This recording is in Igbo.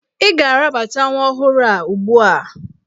Ị ga-arabata nwa ọhụrụ a ugbu a!